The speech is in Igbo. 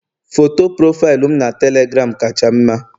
Foto profaịlụ m na telegram kacha mma